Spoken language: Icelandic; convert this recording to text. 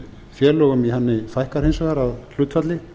félögum í henni fækkar hins vegar að hlutfalli